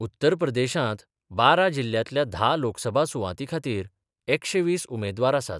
उत्तर प्रदेशांत बारा जिल्ल्यांतल्या धा लोकसभा सुवातींखातरी एकशे वीस उमेदवार आसात.